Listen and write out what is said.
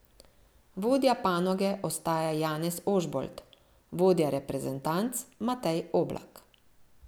Vodja panoge ostaja Janez Ožbolt, vodja reprezentanc Matej Oblak.